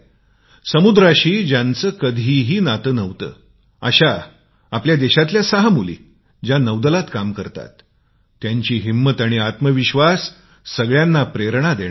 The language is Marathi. समुद्राशी ज्यांचे कधीच नाते नव्हते अश्या आपल्या देशातील सहा मुली ज्या नौदलात काम करत होत्या त्यांची हिम्मत आणि आत्मविश्वास सगळ्यांना प्रेरणा देणारा आहे